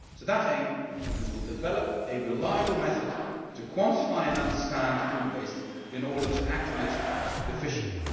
With that aim, we will develop a reliable method to quantify and understand food waste in order to act on it efficiently.